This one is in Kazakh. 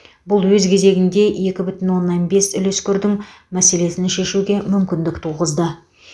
бұл өз кезегінде екі бүтін оннан бес үлескердің мәселесін шешуге мүмкіндік туғызды